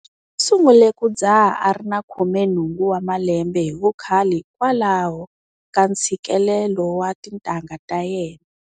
U sungule ku dzaha a ri na 18 wa malembe hi vukhale hikwalaho ka ntshikelelo wa tintangha ta yena.